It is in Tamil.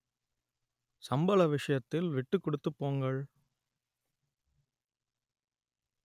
சம்பள விஷயத்தில் விட்டுக் கொடுத்து போங்கள்